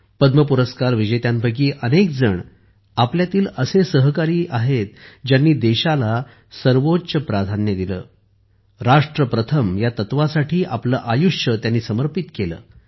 पद्म पुरस्कार विजेत्यांपैकी अनेक जण आपल्यातील असे सहकारी आहेत ज्यांनी देशाला सर्वोच्च प्राधान्य दिले राष्ट्र प्रथम या तत्त्वासाठी आपले आयुष्य समर्पित केले